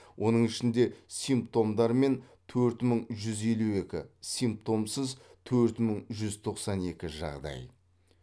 оның ішінде симптомдармен төрт мың жүз елу екі симптомсыз төрт мың жүз тоқсан екі жағдай